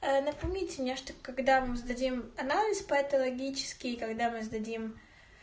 ээ напомните мне что когда мы сдадим анализ по этой логический когда мы сдадим